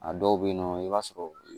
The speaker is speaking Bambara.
A dɔw bɛ yen nɔ i b'a sɔrɔ